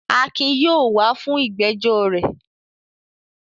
Akin yóò wà á fún ìgbẹ́jọ́ rẹ.